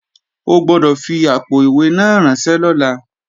O gbọ́dọ̀ fi àpò-ìwé náà ránṣẹ́ lọ́la!